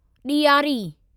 ॾियारी